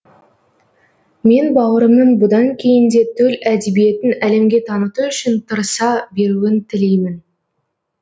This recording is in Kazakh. мен бауырымның бұдан кейін де төл әдебиетін әлемге таныту үшін тырыса беруін тілеймін